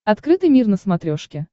открытый мир на смотрешке